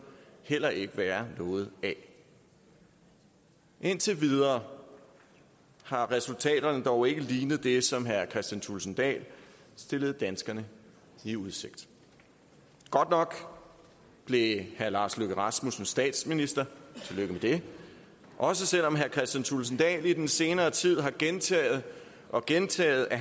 heller ikke være noget af indtil videre har resultaterne dog ikke lignet det som herre kristian thulesen dahl stillede danskerne i udsigt godt nok blev herre lars løkke rasmussen statsminister tillykke med det også selv om herre kristian thulesen dahl i den senere tid har gentaget og gentaget at